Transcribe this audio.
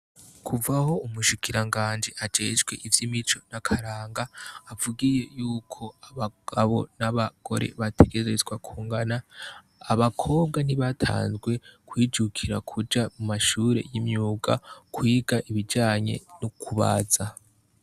Kuva aho umushikiranganji ajejwe ivy' imico n' akaranga avugiye yuko abagabo n' abagore bategerezwa kungana, abakobwa ntibatanzwe kwijukira kuja mu mashure y' imyuga kwiga ibijanye no kubaza .